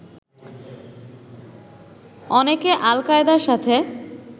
অনেকে আল কায়দার সাথে